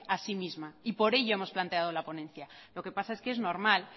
a sí misma y por ello hemos planteado la ponencia lo que pasa es que es normal